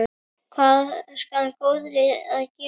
Hvað skal góði gefa þér?